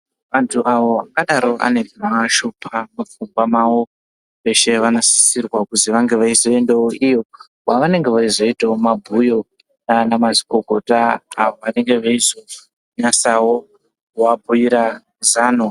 Antu awo angadaro ane zvinovashupa mupfungwa mwavo veshe vanosisirwe kuti vazoendawo iyo kwavanenge veiita mabhuyo navanamazvikokota avo vanenge veizonasawo kuvabhuira zano.